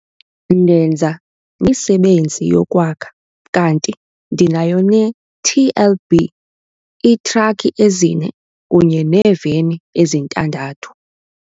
Ndenza imisebenzi yokwakha kanti ndinayo neTLB, iitrakhi ezine kunye neeveni ezintandathu.